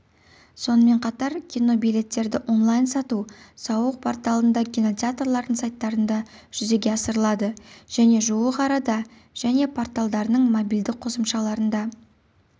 сонымен қатар кинобилеттерді онлайн сату сауық порталында кинотеатрлардың сайттарында жүзеге асырылады және жуық арада және порталдарының мобильді қосымшаларында